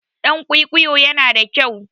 Ɗan kwikwiyo yana da kyau.